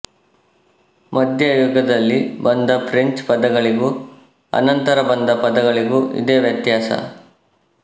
ಮಧ್ಯಯುಗದಲ್ಲಿ ಬಂದ ಫ್ರೆಂಚ್ ಪದಗಳಿಗೂ ಅನಂತರ ಬಂದ ಪದಗಳಿಗೂ ಇದೇ ವ್ಯತ್ಯಾಸ